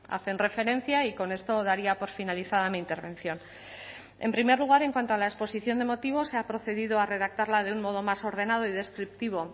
hacen referencia y con esto daría por finalizada mi intervención en primer lugar en cuanto a la exposición de motivos se ha procedido a redactarla de un modo más ordenado y descriptivo